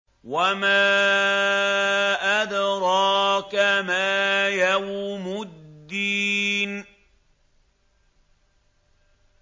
وَمَا أَدْرَاكَ مَا يَوْمُ الدِّينِ